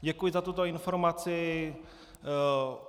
Děkuji za tuto informaci.